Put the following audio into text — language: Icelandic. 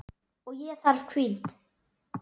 Og ég þarf hvíld.